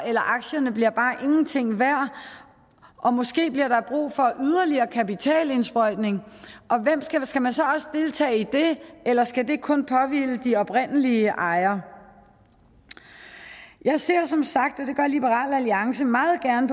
aktierne bliver bare ingenting værd og måske bliver der brug for yderligere kapitalindsprøjtning og skal man så også deltage i det eller skal det kun påhvile de oprindelige ejere jeg ser som sagt og det gør liberal alliance meget gerne